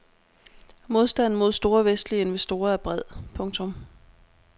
Modstanden mod store vestlige investorer er bred. punktum